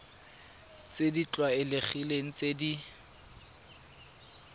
tse di tlwaelegileng tse di